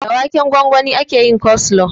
Da waken gwangwani ake yin koslo